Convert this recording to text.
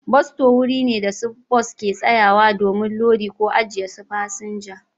Bas sto wuri ne da su bas ke sayawa domin lodi ko ajiye su fasinja.